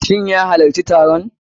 Shin ya halacci taron?